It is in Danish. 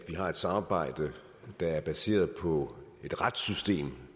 har et samarbejde der er baseret på et retssystem